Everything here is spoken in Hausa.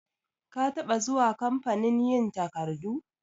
Ka taba zuwa kamfanin yin takardu?